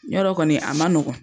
Ɲɔrɔ kɔni a ma nɔgɔn.